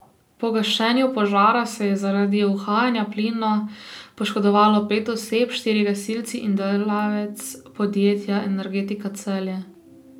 Pri gašenju požara se je zaradi uhajanja plina poškodovalo pet oseb, štirje gasilci in delavec podjetja Energetika Celje.